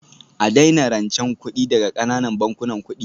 A daina rancen kuɗi daga ƙananan bankunan kuɗi